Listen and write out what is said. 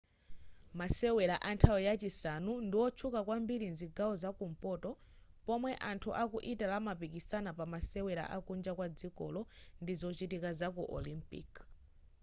masewera anthawi yachisanu ndiwotchuka kwambiri mzigawo zakumpoto pomwe anthu aku italy amapikisana pamasewera akunja kwa dzikolo ndi zochitika zaku olimpiki